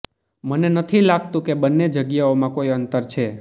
મને નથી લાગતું કે બંને જગ્યાઓમાં કોઈ અંતર છે